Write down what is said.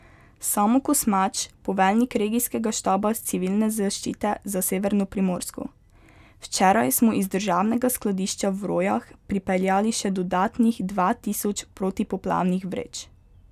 Samo Kosmač, poveljnik regijskega štaba Civilne zaščite za severno Primorsko: 'Včeraj smo iz državnega skladišča v Rojah pripeljali še dodatnih dva tisoč protipoplavnih vreč.